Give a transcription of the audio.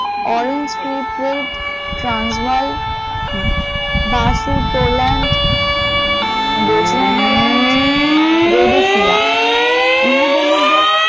অরেঞ্জপ্রিপেড, ট্রান্সভালফ বাচুতোলানথ, বেচুএনাল্যান্ড, রোরোফিয়া ইহাদের মধ্যে